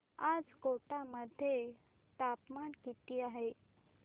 आज कोटा मध्ये तापमान किती आहे